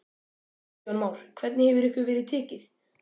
Kristján Már: Hvernig hefur ykkur verið tekið?